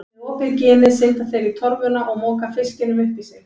Með opið ginið synda þeir í torfuna og moka fiskinum upp í sig.